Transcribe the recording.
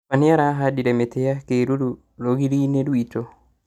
Baba nĩarahandire mĩtĩ ya kĩruru rũgiri-inĩ rwitũ